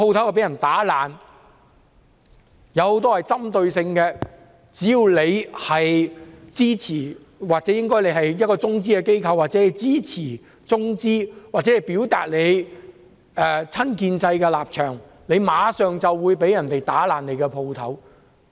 相關行動很有針對性，只要店主支持中資機構或是中資機構、支持或表達親建制立場，他們的店鋪就會被破壞。